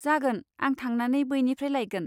जागोन, आं थांनानै बैनिफ्राय लायगोन।